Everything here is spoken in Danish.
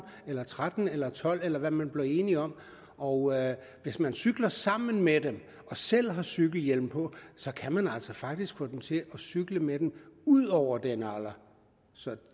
eller tretten eller tolv år eller hvad man bliver enige om og hvis man cykler sammen med dem og selv har cykelhjelm på kan man altså faktisk få dem til at cykle med den ud over den alder så